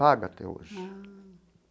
Paga até hoje.